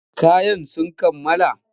Kayan sun kammala?